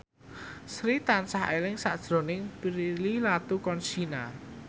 Sri tansah eling sakjroning Prilly Latuconsina